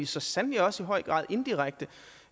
så sandelig også i høj grad indirekte